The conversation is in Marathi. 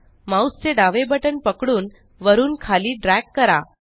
माउस चे डावे बटण पकडून वरून खाली ड्रॅग करा